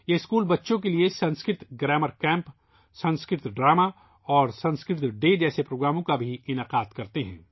یہ اسکول بچوں کے لئے سنسکرت گرامر کیمپ ، سنسکرت ناٹک اور سنسکرت ڈے جیسے پروگراموں کا بھی اہتمام کرتے ہیں